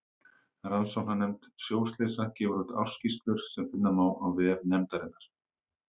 Rannsóknarnefnd sjóslysa gefur úr ársskýrslur sem finna má á vef nefndarinnar.